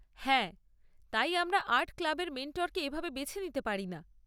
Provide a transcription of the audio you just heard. হ্যাঁ, তাই আমরা আর্ট ক্লাবের মেন্টরকে এভাবে বেছে নিতে পারি না।